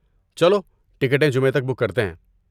چلو ٹکٹیں جمعہ تک بک کرتے ہیں؟